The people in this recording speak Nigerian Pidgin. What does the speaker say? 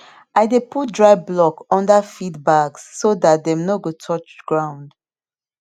i dey put dry block under feed bags so dat dem no go touch ground